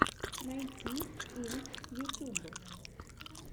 найти инк ютюб